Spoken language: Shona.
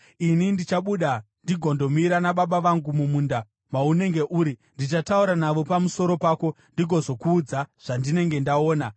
Ini ndichabuda ndigondomira nababa vangu mumunda maunenge uri. Ndichataura navo pamusoro pako ndigozokuudza zvandinenge ndaona.”